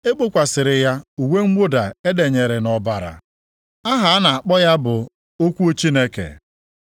E gbokwasịrị ya uwe mwụda e denyere nʼọbara. Aha a na-akpọ ya bụ Okwu Chineke.